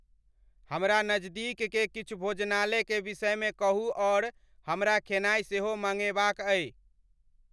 हमरा नजदीक के किछु भोजनालय के विषम में कहूं अउर हमरा खेनाई सेहो मांगेवाक आई